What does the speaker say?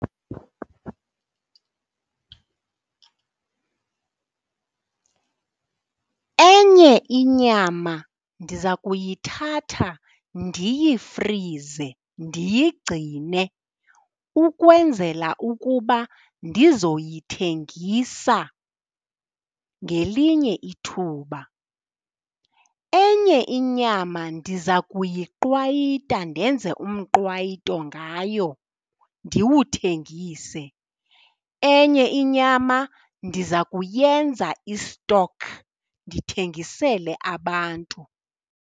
Enye inyama ndiza kuyithatha ndiyifrize, ndiyigcine ukwenzela ukuba ndizoyithengisa ngelinye ithuba. Enye inyama ndiza kuyiqwayita, ndenze umqwayito ngayo ndiwuthengise. Enye inyama ndiza kuyenza i-stock ndithengisele abantu.